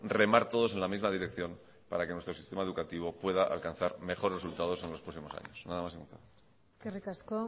remar todos en la misma dirección para que nuestro sistema educativo pueda alcanzar mejores resultados en los próximos años nada más y muchas gracias eskerrik asko